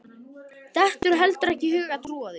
Dettur heldur ekki í hug að trúa því.